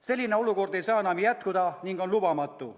Selline olukord ei saa enam jätkuda ning on lubamatu.